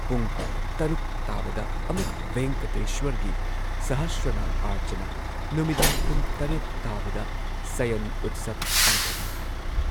ꯄꯨꯡ ꯶ ꯇꯥꯕꯗ ꯑꯃꯨꯛ ꯚꯦꯡꯀꯇꯦꯁ꯭ꯋꯔꯒꯤ ꯁꯍꯁ꯭ꯔꯅꯥꯝ ꯑꯥꯔꯆꯅꯥ, ꯅꯨꯃꯤꯗꯥꯡ ꯄꯨꯡ ꯷ ꯇꯥꯕꯗ ꯁꯌꯟ ꯎꯠꯁꯕ ꯄꯥꯡꯊꯣꯛꯏ ꯍꯥꯏ ꯫